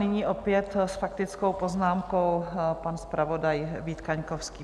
Nyní opět s faktickou poznámkou pan zpravodaj Vít Kaňkovský.